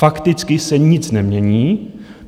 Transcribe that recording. Fakticky se nic nemění.